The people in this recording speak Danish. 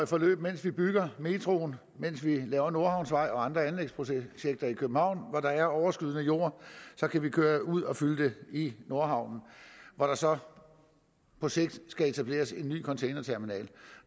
forløb mens vi bygger metroen mens vi laver nordhavnsvej og andre anlægsprojekter i københavn hvor der er overskydende jord kan vi køre ud og fylde den i nordhavnen hvor der så på sigt skal etableres en ny containerterminal